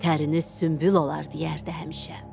Təriniz sümbül olar, deyərdi həmişə.